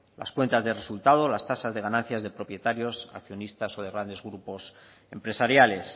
las cuentas de resultados las tasas de ganancias de propietarios accionistas o de grandes grupos empresariales